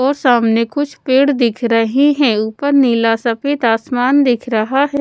और सामने कुछ पेड़ दिख रही है ऊपर नीला सफेद आसमान दिख रहा है।